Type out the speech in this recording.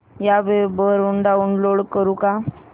या वेब वरुन डाऊनलोड करू का